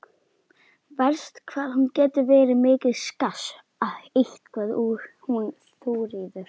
Verst hvað hún getur verið mikið skass eitthvað hún Þuríður.